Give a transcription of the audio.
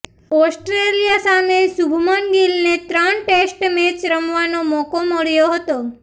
Australia સામે શુભમન ગીલ ને ત્રણ ટેસ્ટ મેચ રમવાનો મોકો મળ્યો હતો